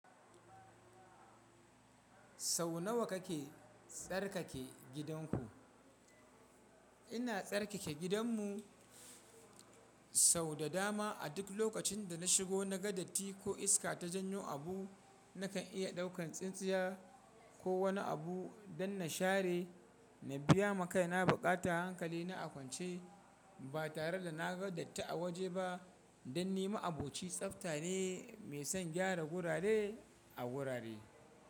Sau nawa kake tsarkake gidanku? Ina tsarkake gidanmu sau da dama. A duk lokacin da na shigo, na ga datti ko iska ta janyo abu, nakan iya ɗaukan tsintsiya ko wani abu don na share. Na biya ma kai na buƙata hankali na a kwance ba tare da na ga datti a waje ba, don ni ma'aboci tsafta ne mai son gyara gurare a gurare.